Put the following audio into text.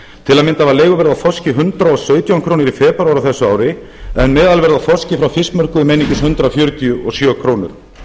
til að mynda var leiguverð á þorski hundrað og sautján krónur í febrúar á þessu ári en meðalverð á þorski frá fiskmörkuðum einungis hundrað fjörutíu og sjö krónur